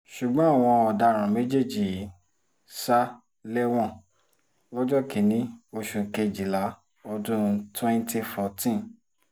ṣùgbọ́n àwọn ọ̀daràn méjèèjì yìí sá lẹ́wọ̀n lọ́jọ́ kìn-ín-ní oṣù kejìlá ọdún twenty fourteen